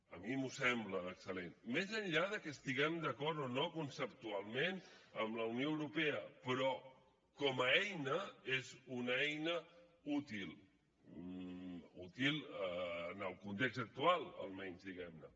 a mi m’ho sembla d’excel·lent més enllà de que estiguem d’acord o no conceptualment amb la unió europea però com a eina és una eina útil útil en el context actual almenys diguem ne